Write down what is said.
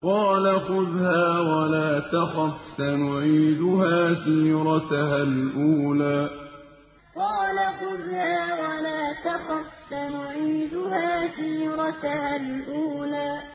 قَالَ خُذْهَا وَلَا تَخَفْ ۖ سَنُعِيدُهَا سِيرَتَهَا الْأُولَىٰ قَالَ خُذْهَا وَلَا تَخَفْ ۖ سَنُعِيدُهَا سِيرَتَهَا الْأُولَىٰ